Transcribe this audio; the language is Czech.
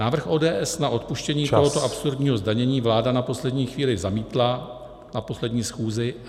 Návrh ODS na odpuštění tohoto absurdního zdanění vláda na poslední chvíli zamítla, na poslední schůzi.